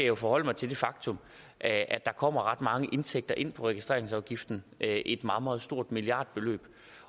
jo forholde mig til det faktum at der kommer ret mange indtægter ind som af registreringsafgiften det er et meget meget stort milliardbeløb